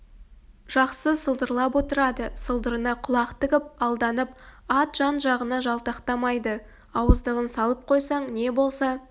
жақсы сылдырлап отырады сылдырына құлақ тігіп алданып ат жан-жағына жалтақтамайды ауыздығын салып қойсаң не болса